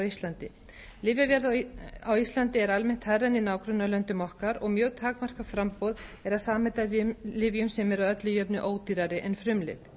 íslandi lyfjaverð á íslandi er almennt hærra en í nágrannalöndum okkar og mjög takmarkað framboð er af samheitalyfjum sem eru að öllu jöfnu ódýrari en frumlyf